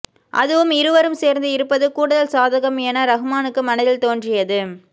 அதுவும் இருவரும் சேர்ந்து இருப்பது கூடுதல் சாதகம் என ரஹ்மானுக்கு மனதில் தோன்றியது